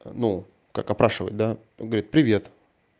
ну как опрашивать да он говорит привет